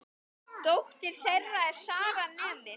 Dóttir þeirra er Sara, nemi.